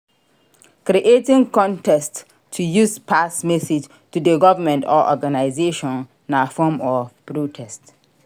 Creating contest to use pass message to the government or organisation na form of protest